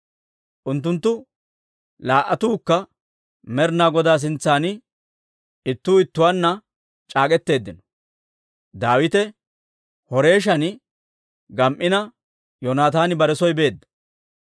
Unttunttu laa"attuukka Med'inaa Godaa sintsan ittuu ittuwaanna c'aak'k'etteeddino; Daawite Horeeshan gam"ina Yoonataani bare soo beedda.